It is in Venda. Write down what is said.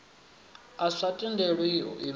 a sa tendeli u imelelwa